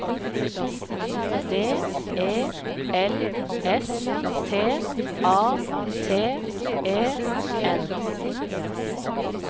D E L S T A T E N